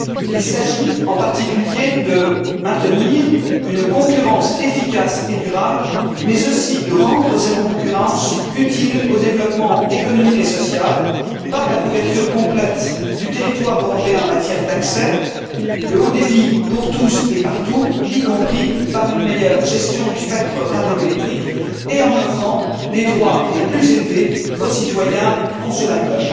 Il s'agit en particulier de maintenir une concurrence efficace et durable, mais aussi de rendre cette concurrence utile au développement économique et social par la couverture complète du territoire européen en matière d'accès, le haut débit pour tous et partout, y compris par une meilleure gestion du spectre radioélectrique, et en offrant les droits les plus élevés aux citoyens consommateurs.